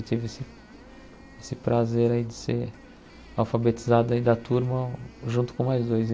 Eu tive esse esse prazer aí de ser alfabetizado aí da turma junto com mais dois.